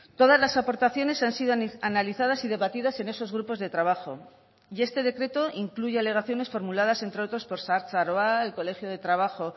todas las aportaciones han sido analizadas y debatidas en esos grupos de trabajo y este decreto incluye alegaciones formuladas entre otros por zahartzaroa el colegio de trabajo